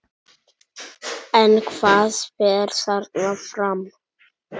En hvað fer þarna fram?